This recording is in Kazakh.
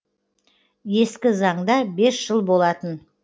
ескі заңда бес жыл болатын